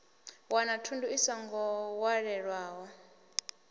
wana thundu i songo walelwaho